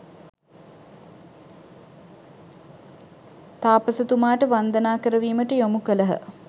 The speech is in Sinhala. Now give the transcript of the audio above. තාපසතුමාට වන්දනා කරවීමට යොමු කළහ.